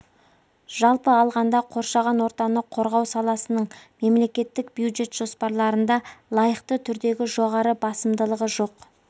жалпы алғанда қоршаған ортаны қорғау саласының мемлекеттік бюджет жоспарларында лайықты түрдегі жоғары басымдылығы жоқ